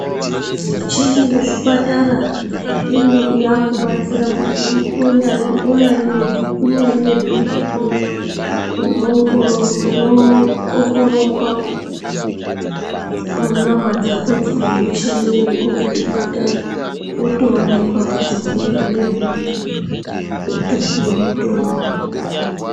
Michini kuzvipatara yakubatsira kuti unyari nebhiipi unoongororwa munyama dzakodzo ngemichini iriko kuzvipatara wotoonekwa kuti une bhiipi wotopuwa mutombo.